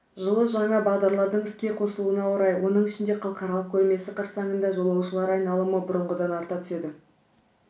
жылы жаңа бағдарлардың іске қосылуына орай оның ішінде халықаралық көрмесі қарсаңында жолаушылар айналымы бұрынғыдан арта түседі